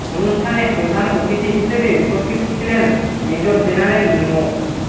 অনুষ্ঠানে প্রধান অতিথি হিসেবে উপস্থিত ছিলেন মেজর জেনারেল মো